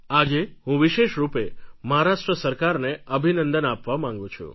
આજે હું વિશેષ રૂપે મહારાષ્ટ્ર સરકારને અભિનંદન આપવા માંગું છું